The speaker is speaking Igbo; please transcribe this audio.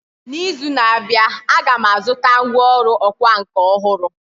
N’izu na-abịa, Aga m azụta ngwá ọrụ ọkwá nkà ọhụrụ